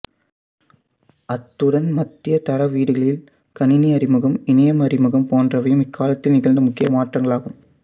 அத்துடன் மத்திய தர வீடுகளில் கணினி அறிமுகம் இணையம் அறிமுகம் போன்றவையும் இக்காலத்தில் நிகழ்ந்த முக்கிய மாற்றங்களாகும்